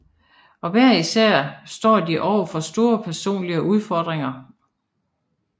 Og hver især står de overfor store personlige udfordringer